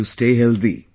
And you stay healthy